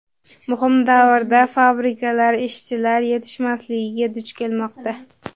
muhim davrda fabrikalar ishchilar yetishmasligiga duch kelmoqda.